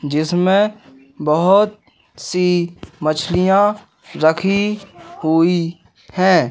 जिसमें बहुत सी मछलियां रखी हुई हैं।